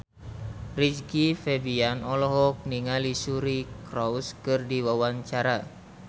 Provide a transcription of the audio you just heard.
Rizky Febian olohok ningali Suri Cruise keur diwawancara